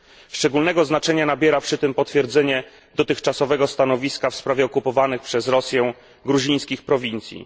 Szczególnego znaczenia nabiera przy tym potwierdzenie dotychczasowego stanowiska w sprawie okupowanych przez Rosję gruzińskich prowincji.